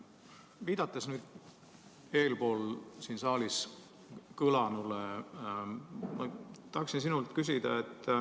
Viidates siin saalis eespool kõlanule, tahaksin sinult küsida.